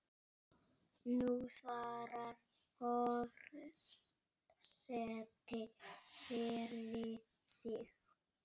Nú svarar forseti fyrir sig.